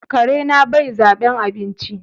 Karena bai zaben abinci.